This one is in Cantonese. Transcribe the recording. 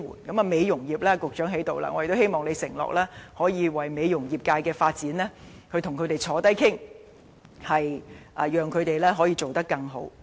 在美容業方面，局長已經在席，我希望他能夠承諾與美容業人士討論業界發展，讓行業發展得更好。